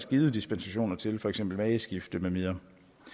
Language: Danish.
givet dispensation til for eksempel mageskifte med videre